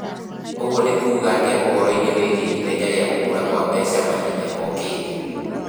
Ũguo nĩ kuuga atĩa ũhoro-inĩ wĩgiĩ ithenya rĩa gũkũra kwa mbeca mahinda mokĩte?